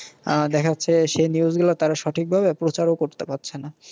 আহ দেখা যাচ্ছে সেই news গুলা তাঁরা সঠিক ভাবে প্রচারও করতে পারছে না।